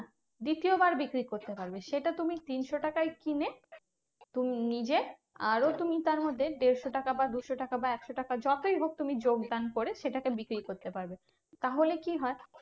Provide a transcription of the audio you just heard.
দ্বিতীয় বার বিক্রি করতে পারবে। সেটা তুমি তিনশো তাকে কিনে, তুমি নিজে আরো তুমি তার মধ্যে দেড়শো টাকা বা দুশো টাকা বা একশো টাকা যতই হোক তুমি যোগদান করে সেটা কে বিক্রি করতে পারবে। তাহলে কি হয়?